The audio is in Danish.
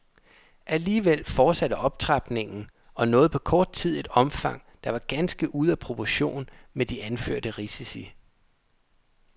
Alligevel fortsatte optrapningen og nåede på kort tid et omfang, der var ganske ude af proportion med de anførte risici.